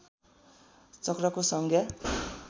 चक्रको संज्ञा